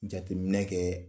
Jateminɛ kɛ